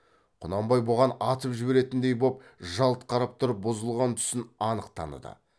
құнанбай бұған атып жіберетіндей боп жалт қарап тұрып бұзылған түсін анық таныды